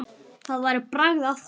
Það væri bragð af því!